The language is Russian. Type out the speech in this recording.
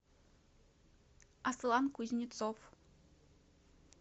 аслан кузнецов